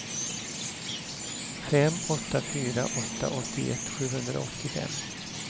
fem åtta fyra åtta åttioett sjuhundraåttiofem